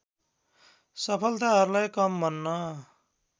सफलताहरूलाई कम भन्न